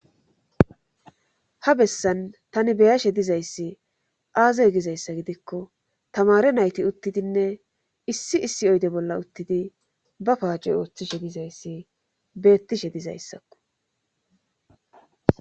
Ha bessan tani beyashe dizayssi aazey gizayssa gidikko tamare nayti uttidinne issi issi oyde bolla uttidi ba paacey ooththishe dizayssi beettishe dizayssakko